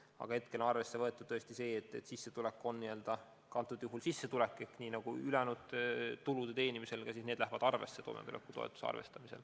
Aga hetkel on küll arvestatud, et ka see sissetulek läheb nagu ülejäänud tulud toimetulekutoetuse arvestamisel arvesse.